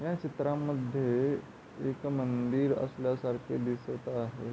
या चित्रामध्ये एक मंदिर असल्यासारखे दिसत आहे.